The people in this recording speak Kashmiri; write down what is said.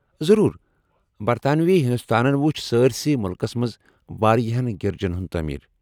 ضرور۔ برطانوی ہندوستانن وُچھ سٲرِسےٕ مُلکس منٛز واریاہن گِرجن ہُنٛد تٲمیر ۔